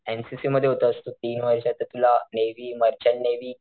N C C मध्ये होतास तू तीन वर्ष तर तुला नेव्ही मर्चंट नेव्ही,